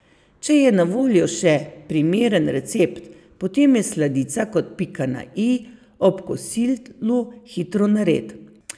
Če je na voljo še primeren recept, potem je sladica kot pika na i ob kosilu hitro nared.